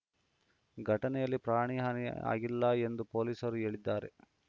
ಘಟನೆಯಲ್ಲಿ ಪ್ರಾಣಹಾನಿ ಆಗಿಲ್ಲ ಎಂದು ಪೊಲೀಸರು ಹೇಳಿದ್ದಾರೆ